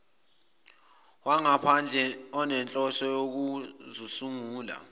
wangaphandle onenhloso yokuzosungula